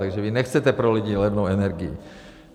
- Takže vy nechcete pro lidi levnou energii.